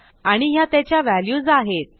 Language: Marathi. आणि ह्या त्याच्या व्हॅल्यूज आहेत